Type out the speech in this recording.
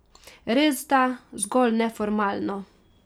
Resda zgolj neformalno.